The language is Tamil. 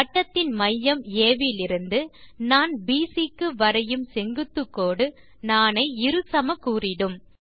வட்டத்தின் மையம் ஆ விலிருந்து நாண் பிசி க்கு வரையும் செங்குத்துக்கோடு நாணை இரு சமக்கூறிடும்